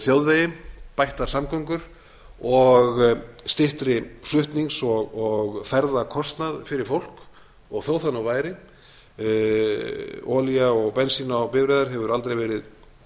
þjóðveginn bættar samgöngur og styttri flutnings og ferðakostnað fyrir fólk og þó það nú væri olía og bensín á bifreiðar hefur aldrei verið